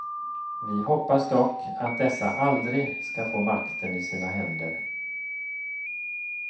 Vi hoppas dock att dessa aldrig ska få makten i sina händer.